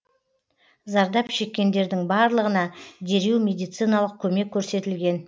зардап шеккендердің барлығына дереу медициналық көмек көрсетілген